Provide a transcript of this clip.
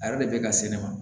A yɛrɛ de bɛ ka se ne ma